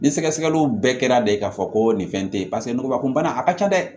Ni sɛgɛsɛgɛliw bɛɛ kɛra de k'a fɔ ko nin fɛn te yen paseke nugubakun bana a ka ca dɛ